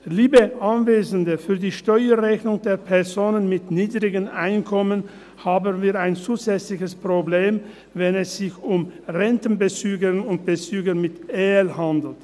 Liebe Anwesende, für die Steuerrechnung der Personen mit niedrigen Einkommen haben wir ein zusätzliches Problem, wenn es sich um Rentenbezügerinnen und -bezüger mit EL handelt.